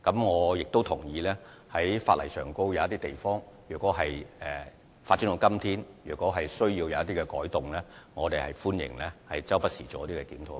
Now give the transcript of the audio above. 我亦同意，因應科技的發展，如果法例有某些地方需要作出改動，我們表示歡迎，也會不時作出檢討。